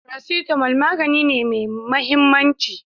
Paracetamol magani ne me mahimmanci